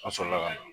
An sɔrɔla ka na